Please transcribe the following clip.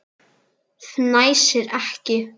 Fnæsir ekki.